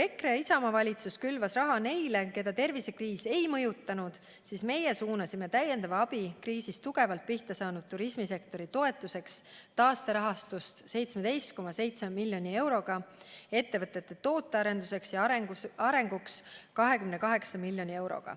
EKRE ja Isamaa valitsus külvas raha neile, keda tervisekriis ei mõjutanud, seevastu meie suunasime täiendavat abi kriisi tõttu tugevalt pihta saanud turismisektori toetuseks taasterahastust 17,7 miljonit eurot ning ettevõtete tootearenduseks ja arenguks 28 miljoni eurot.